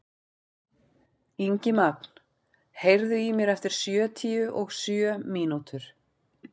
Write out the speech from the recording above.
Ingimagn, heyrðu í mér eftir sjötíu og sjö mínútur.